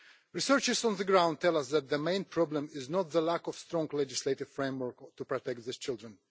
Researchers on the ground tell us that the main problem is not the lack of a strong legislative framework to protect these children.